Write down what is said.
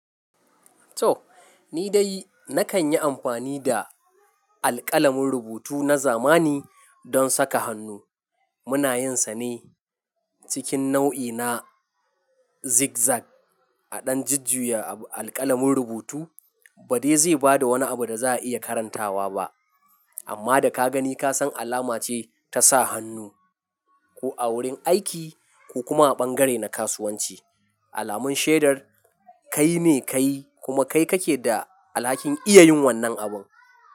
To! Nidai nakan yi amfani da alƙalamin rubutu na zamani don saka hannu. Muna yinsa ne cikin nau'i na zigzag. A dan jujjuyan alƙalamin rubutu ba dai zai bada wani abu da za'a iya karantawa ba, amma da ka gani ka san alama ce ta sa hannu. Ko a wurin aiki ko kuma a ɓangare na kasuwanci, alamun shaidar kai ne kayi kuma kai kake da alhakin iya yin wannan abun.